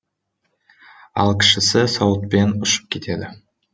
ал кішісі сауытпен ұшып кетеді